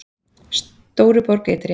Stóruborg ytri